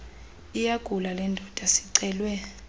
iyagula lendoda sicelwe